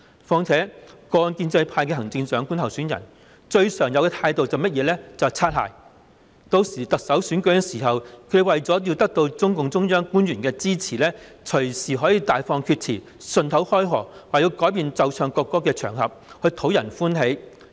況且，過往建制派的行政長官候選人，最常見的態度就是"擦鞋"，日後選舉特首時，他們為了得到中共中央官員的支持，隨時可以大放厥詞，順口開河，說要改變奏唱國歌的場合，藉此討人歡心。